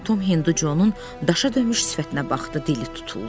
Tom Hinducoun daşa dönmüş sifətinə baxdı, dili tutuldu.